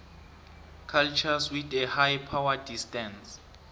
cultures with a high power distance